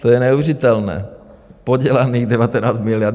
To je neuvěřitelné, podělaných 19 miliard.